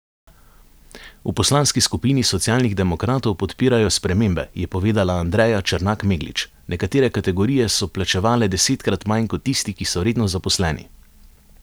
V poslanski skupini Socialnih demokratov podpirajo spremembe, je povedala Andreja Črnak Meglič: 'Nekatere kategorije so plačevale desetkrat manj kot tisti, ki so redno zaposleni.